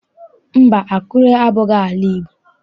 Mba, Akure abụghị ala Igbo.